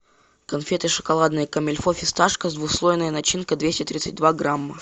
конфеты шоколадные комильфо фисташка с двухслойной начинкой двести тридцать два грамма